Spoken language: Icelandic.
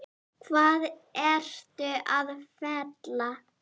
Hvað ertu að fela?